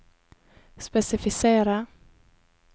spesifisere